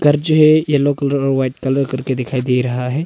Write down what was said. घर जो है येलो कलर और व्हाइट कलर करके दिखाई दे रहा है।